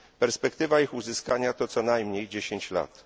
Perspektywa ich uzyskania to co najmniej 10 lat.